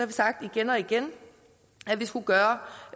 vi sagt igen og igen at vi skulle gøre